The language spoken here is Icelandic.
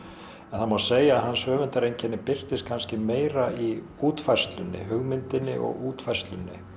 en það má segja að hans höfundareinkenni birtist kannski meira í útfærslunni hugmyndinni og útfærslunni